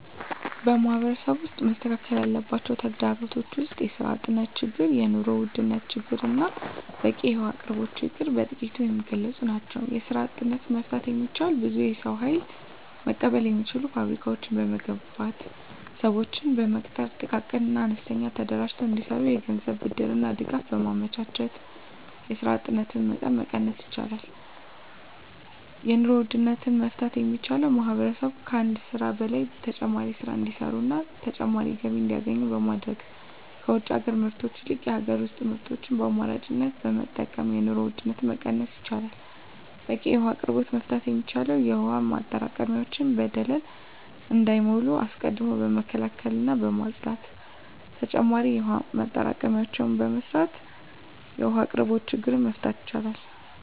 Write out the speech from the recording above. በማህበረሰቡ ውስጥ መስተካከል ያለባቸው ተግዳሮቶች ውስጥ የስራ አጥነት ችግር የኑሮ ውድነት ችግርና በቂ የውሀ አቅርቦት ችግር በጥቂቱ የሚገለፁ ናቸው። የስራ አጥነትን መፍታት የሚቻለው ብዙ የሰው ሀይል መቀበል የሚችሉ ፋብሪካዎችን በመገንባትና ስዎችን በመቅጠር ጥቃቅንና አነስተኛ ተደራጅተው እንዲሰሩ የገንዘብ ብድርና ድጋፍ በማመቻቸት የስራ አጥነትን መቀነስ ይቻላል። የኑሮ ውድነትን መፍታት የሚቻለው ማህበረሰቡ ከአንድ ስራ በላይ ተጨማሪ ስራ እንዲሰሩና ተጨማሪ ገቢ እንዲያገኙ በማድረግ ከውጭ ሀገር ምርቶች ይልቅ የሀገር ውስጥ ምርቶችን በአማራጭነት በመጠቀም የኑሮ ውድነትን መቀነስ ይቻላል። በቂ የውሀ አቅርቦትን መፍታት የሚቻለው የውሀ ማጠራቀሚያዎች በደለል እንዳይሞሉ አስቀድሞ በመከላከልና በማፅዳት ተጨማሪ የውሀ ማጠራቀሚያዎችን በመስራት የውሀ አቅርቦትን ችግር መፍታት ይቻላል።